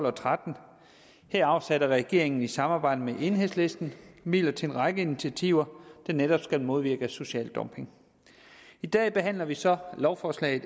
og tretten her afsatte regeringen i samarbejde med enhedslisten midler til en række initiativer der netop skal modvirke social dumping i dag behandler vi så lovforslag